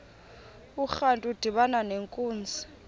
urantu udibana nenkunzi